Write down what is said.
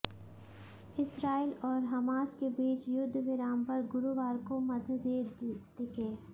Israel और Hamas के बीच युद्धविराम पर गुरुवार को मतभेद दिखे